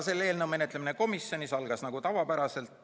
Selle eelnõu menetlemine komisjonis algas tavapäraselt.